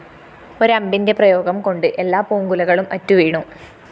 ഒരമ്പിന്റെ പ്രയോഗംകൊണ്ട് എല്ലാ പൂങ്കുലകളും അറ്റുവീണു